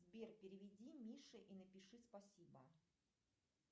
сбер переведи мише и напиши спасибо